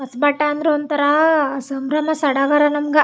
ಹೊಸ್ ಬಟ್ಟೆ ಅಂದ್ರೆ ಒಂತರ ಸಂಭ್ರಮ ಸಡಗರ ನಮ್ಮ್ ಗ --